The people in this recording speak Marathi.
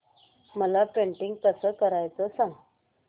मला पेंटिंग कसं करायचं सांग